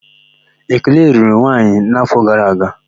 Ekene lụrụ nwanyị n'áfọ̀ gara aga.